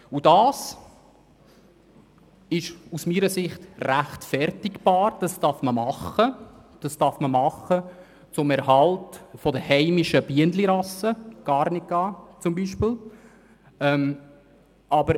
Auch das ist aus meiner Sicht zu rechtfertigen, wenn dies dem Erhalt von heimischen Bienenrassen wie zum Beispiel Carnica dient.